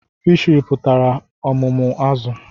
Fishiri pụtara ọmụmụ azụ̀